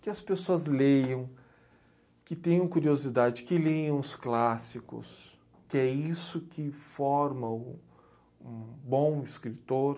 Que as pessoas leiam, que tenham curiosidade, que leiam os clássicos, que é isso que forma o um bom escritor.